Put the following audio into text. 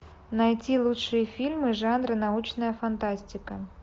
найти лучшие фильмы жанра научная фантастика